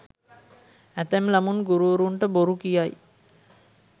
ඇතැම් ළමුන් ගුරුවරුන්ට බොරු කියයි.